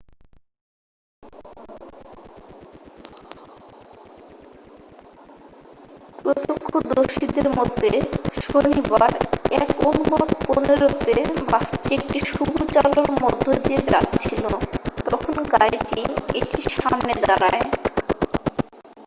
প্রত্যক্ষদর্শীদের মতে শনিবার 1:15 তে বাসটি একটি সবুজ আলোর মধ্যে দিয়ে যাচ্ছিল তখন গাড়িটি এটির সামনে দাঁড়ায়